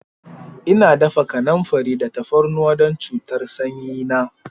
Ina dafa kanamfari da tafarnuwa don cutar sanyi na.